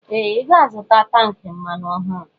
Ee! Ị ga-azụta tankị mmanụ ọhụrụ.